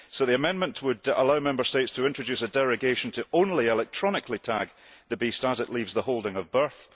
The amendment would allow Member States to introduce a derogation to only electronically tag the beast as it leaves the holding of birth.